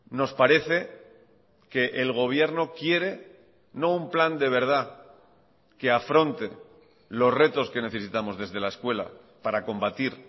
nos parece que el gobierno quiere no un plan de verdad que afronte los retos que necesitamos desde la escuela para combatir